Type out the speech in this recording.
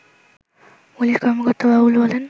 police কর্মকর্তা বাবুল বলেন